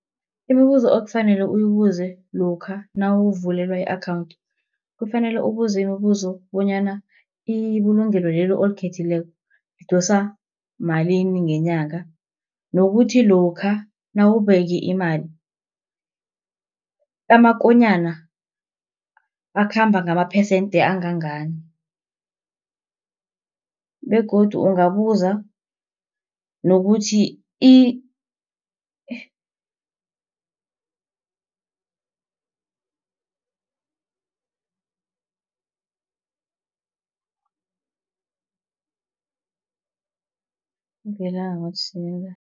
Imibuzo okufanele uyibuze lokha nawuvulelwa i-akhawunthi, kufanele ubuze imibuzo bonyana ibulungelo lelo olikhethileko lidosa malini ngenyanga. Nokuthi lokha nawubeke imali, amakonyana akhamba ngamaphesenthe angangani, begodu ungabuza nokuthi